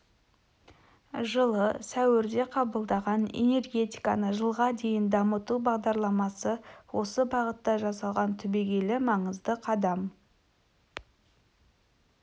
жылы сәуірде қабылдаған энергетиканы жылға дейін дамыту бағдарламасы осы бағытта жасалған түбегейлі маңызды қадам